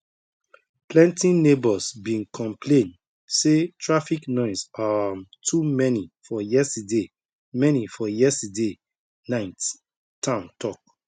plenty neighbors been complain say traffic noise um too many for yesterday many for yesterday night town talk